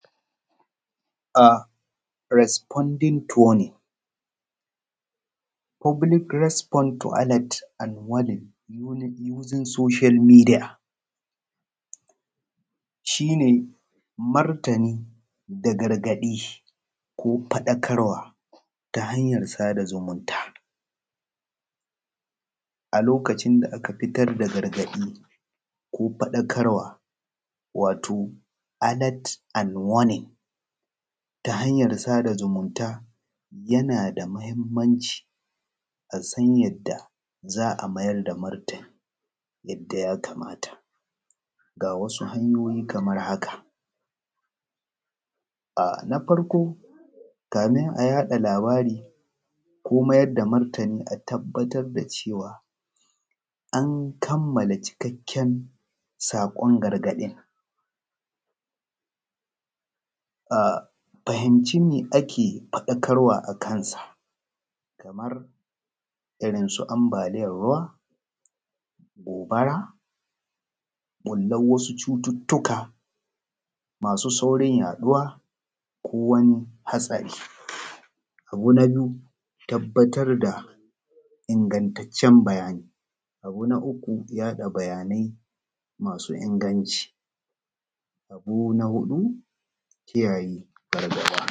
Responding turning public respond to alert and wallet using social media. Shi ne martani da gargaɗi ko faɗakarwa ta hanyar sada zumunta a lokacin da aka fitar da gargaɗi ko fadakarwa wato alert and warning. Ta hanyar sada zumunta yana da matuƙar mahimmanci a san yadda za a mayar da matmrtani yadda ya kamata, ga wasu hanyoyin kamar haka: na farko kafin a yaɗa kavari ko mayar da martani a tabbatar da cewa an kammala cikakken sakon gargaɗin. A fahimci me ake fadakarwa a kai kamar su hanbaliyar ruwa, gobara, ɓullar wasu cututtuka mSu saurin yaɗuwar ko wani haɗari. Na biyu tabbatar da ingantaccen bayani. Abu na uku yaɗa bayanai masu inganci. Abu na huɗu shi ne kiyayen gargaɗi.